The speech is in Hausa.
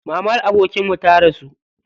Mamar abokinmu ta rasu.